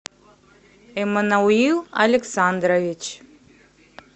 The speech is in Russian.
эммануил александрович